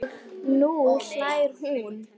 Og nú hlær hún.